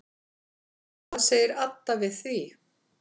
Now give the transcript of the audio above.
Hvað segir Adda við því?